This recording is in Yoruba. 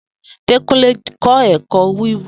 Dekunle kọ ẹkọ wiwu.